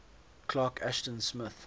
clark ashton smith